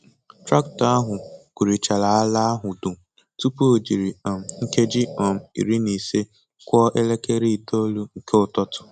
Traktọ ahụ gwurichara ala ahụ dum tupu o jiri um nkeji um iri na ise kụọ elekere itoolu nke ụtụtụ.